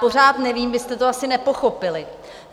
Pořád nevím, vy jste to asi nepochopili.